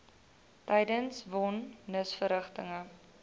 tydens von nisverrigtinge